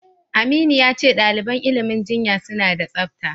Aminu ya ce ɗaliban ilimin jinya suna da tsafta.